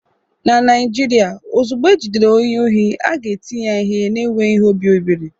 Na Naijiria, ozugbo ejidere onye ohi, a ga-eti ya ihe na-enweghị obi ebere